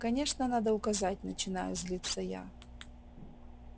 конечно надо указать начинаю злиться я